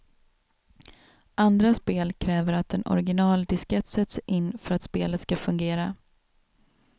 Andra spel kräver att en originaldiskett sätts in för att spelet ska fungera.